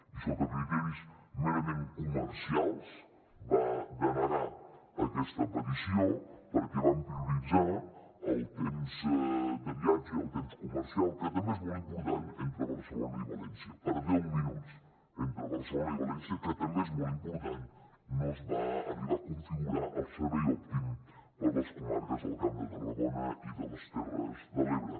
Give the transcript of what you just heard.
i sota criteris merament comercials va denegar aquesta petició perquè van prioritzar el temps de viatge i el temps comercial que també és molt important entre barcelona i valència per deu minuts entre barcelona i valència que també és molt important no es va arribar a configurar el servei òptim per a les comarques del camp de tarragona i de les terres de l’ebre